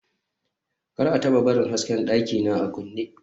kar a taba barin hasken dakina a kunne